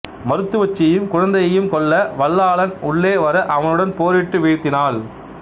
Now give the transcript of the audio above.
மருத்துவச்சியையும் குழந்தையையும் கொல்ல வல்லாளன் உள்ளே வர அவனுடன் போரிட்டு வீழ்த்தினாள்